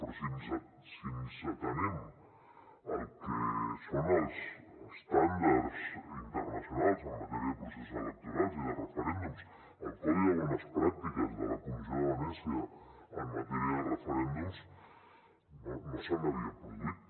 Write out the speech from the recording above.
però si ens atenem al que són els estàndards internacionals en matèria de processos electorals i de referèndums al codi de bones pràctiques de la comissió de venècia en matèria de referèndums no se n’havia produït